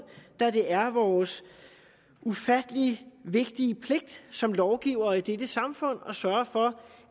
da det er vores ufattelig vigtige pligt som lovgivere i dette samfund at sørge for